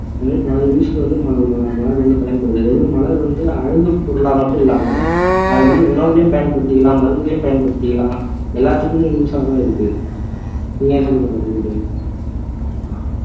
வந்து மல மல மலர் வந்து பயன்படுது ஒரு மலர் வந்து அழகுப்பொருளா மட்டும் இல்லாம அது வந்து உணவுலையும் பயன்படுத்திக்கலாம் மருந்திலையும் பயன்படுத்திக்கலாம் எல்லாத்துக்குமே use ஆ தான் இருக்கு நீங்களே சொல்லுங்க ராஜதுரை